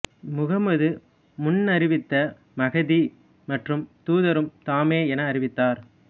முகமது முன்னறிவித்த மஹ்தி மற்றும் தூதரும் தாமே என அறிவித்தார்